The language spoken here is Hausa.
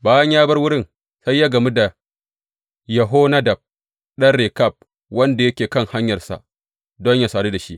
Bayan ya bar wurin, sai ya gamu da Yehonadab ɗan Rekab wanda yake kan hanyarsa don yă sadu da shi.